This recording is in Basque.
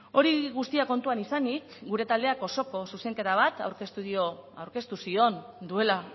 hori guztia kontuan izanik gure taldeak osoko zuzenketa bat aurkeztu zion duela